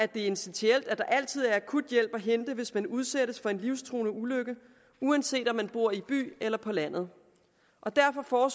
det er essentielt at der altid er akuthjælp at hente hvis man udsættes for en livstruende ulykke uanset om man bor i byen eller på landet derfor